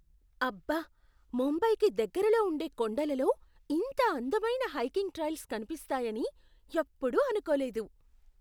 అబ్బా! ముంబైకి దగ్గరలో ఉండే కొండలలో ఇంత అందమైన హైకింగ్ ట్రైల్స్ కనిపిస్తాయని ఎప్పుడూ అనుకోలేదు.